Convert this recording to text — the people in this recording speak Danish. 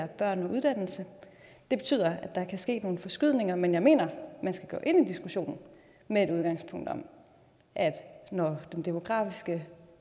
børn og uddannelse det betyder at der kan ske nogle forskydninger men jeg mener at man skal gå ind i diskussionen med et udgangspunkt om at når den demografiske